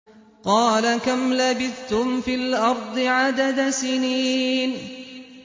قَالَ كَمْ لَبِثْتُمْ فِي الْأَرْضِ عَدَدَ سِنِينَ